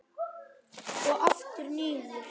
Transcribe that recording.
Og aftur niður.